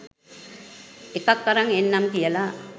එකක් අරන් එන්නම් කියලා